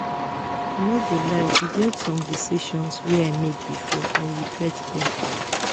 i no go lie e get some decisions wey i make before i regret dem